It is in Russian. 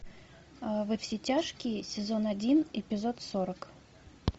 во все тяжкие сезон один эпизод сорок